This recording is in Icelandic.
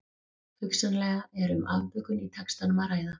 Hugsanlega er um afbökun í textanum að ræða.